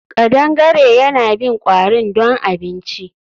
Kadangare yana bin kwarin don abinci